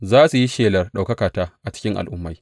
Za su yi shelar ɗaukakata a cikin al’ummai.